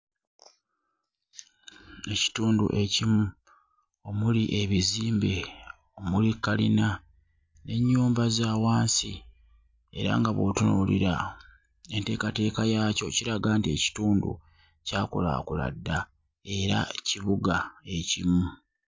Ekitundu ekimu omuli ebizimbe omuli kkalina n'ennyumba za wansi era nga bw'otunuulira enteekateeka yaakyo kiraga nti ekitundu kyakulaakula dda era kibuga ekimu.